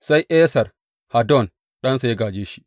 Sai Esar Haddon ɗansa ya gāje shi.